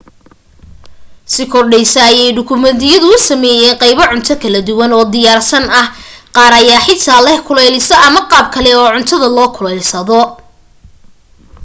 si kordhaysa ayay dukaamadu u sameysanayaan qaybo cunto kala duwan oo diyaarsan ah qaar ayaa xitaa leh kuleeliso ama qaab kale oo cuntada la kululaysto